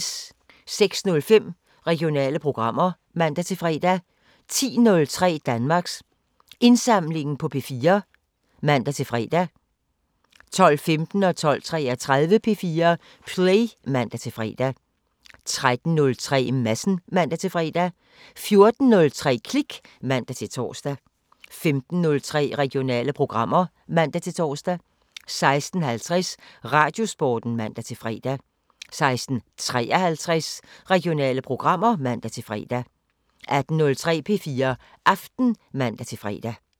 06:05: Regionale programmer (man-fre) 10:03: Danmarks Indsamlingen på P4 (man-fre) 12:15: P4 Play (man-fre) 12:33: P4 Play (man-fre) 13:03: Madsen (man-fre) 14:03: Klik (man-tor) 15:03: Regionale programmer (man-tor) 16:50: Radiosporten (man-fre) 16:53: Regionale programmer (man-fre) 18:03: P4 Aften (man-fre)